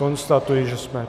Konstatuji, že jsme...